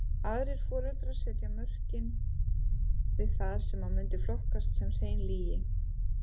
Aðrir foreldrar setja mörkin við það sem mundi flokkast sem hrein lygi.